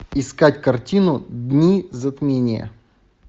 искать картину дни затмения